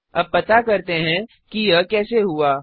अब पता करते हैं कि यह कैसे हुआ